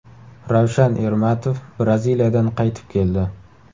Ravshan Ermatov Braziliyadan qaytib keldi.